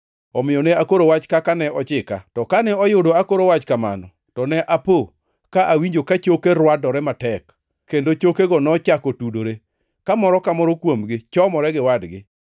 Omiyo ne akoro wach kaka ne ochika. To kane oyudo akoro wach kamano, to ne apo ka awinjo ka choke rwadore matek, kendo chokego nochako tudore, ka moro ka moro kuomgi chomore gi wadgi.